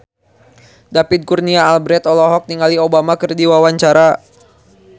David Kurnia Albert olohok ningali Obama keur diwawancara